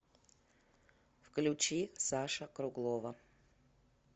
включи саша круглова